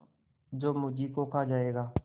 जो मुझी को खा जायगा